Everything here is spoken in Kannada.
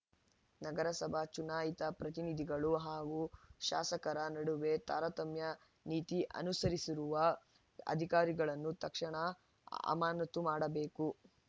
ನಗರಸಭಾ ಚುನಾಯಿತ ಪ್ರತಿನಿಧಿಗಳು ಹಾಗೂ ಶಾಸಕರ ನಡುವೆ ತಾರತಮ್ಯ ನೀತಿ ಅನುಸರಿಸಿರುವ ಅಧಿಕಾರಿಗಳನ್ನು ತಕ್ಷಣ ಅಮಾನತು ಮಾಡಬೇಕು